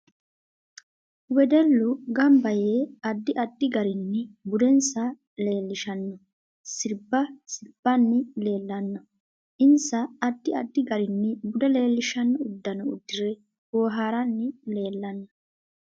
Wedellu ganba yee addi addi garinni budensa leelishanno sirbba sirbbanni leelanno insa addi addi garinni bude leelishanno uddanno uddire booharanni leelanno